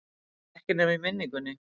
Ekki nema í minningunni.